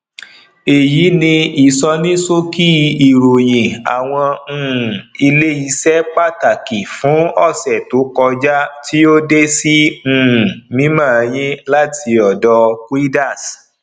èyí ni ìsọníṣókí ìròyìn awọn um ilé iṣẹ pàtàkì fún ọsẹ tó kọjá tí o de sí um mímọ yin láti ọdọ quidax